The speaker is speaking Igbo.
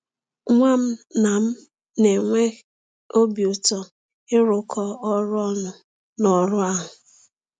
Nwa m na m na-enwe ụtọ ịrụkọ ọrụ ọnụ n’ọrụ ahụ.